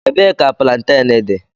Ebee ka plantain dị?